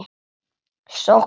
Sókn eða vörn?